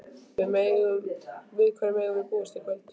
Við hverju megum við búast í kvöld?